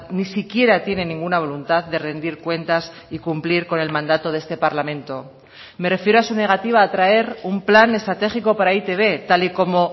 ni siquiera tiene ninguna voluntad de rendir cuentas y cumplir con el mandato de este parlamento me refiero a su negativa a traer un plan estratégico para e i te be tal y como